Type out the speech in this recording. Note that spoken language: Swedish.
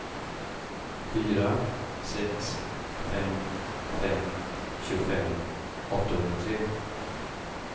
fyra sex fem fem tjugofem åttahundratre